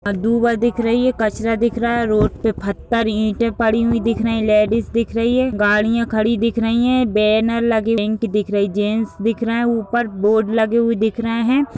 दू बार दिख रही है कचरा दिख रहा है। रोड पे फट्टर इटे पड़े हुई दिख रहे हैं। लेडीज दिख रही हैं। गाड़ियां खड़ी दिख रही हैं। बैनर लगे जेंट्स दिख रहे हैं। ऊपर बोर्ड लगे हुए दिख रहे हैं।